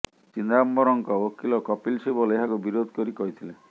ଚିଦାମ୍ବରମଙ୍କ ଓକିଲ କପିଲ ସିବଲ ଏହାକୁ ବିରୋଧ କରି କହିଥିଲେ